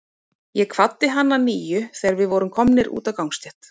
Ég kvaddi hann að nýju, þegar við vorum komnir út á gangstétt.